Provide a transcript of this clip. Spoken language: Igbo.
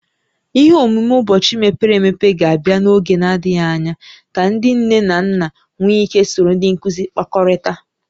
Ihe omume ụbọchị mepere emepe ga-abịa n'oge na-adịghị anya ka ndị nne na nna nwee ike soro ndị nkuzi kpakọrịtaa